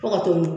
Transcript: Fo ka to